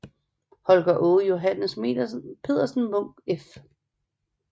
Holger Aage Johannes Pedersen Munk f